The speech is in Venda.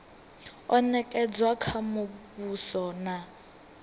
o nekedzwa kha muvhuso na